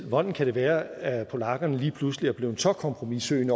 hvordan kan det være at polakkerne lige pludselig er blevet så kompromissøgende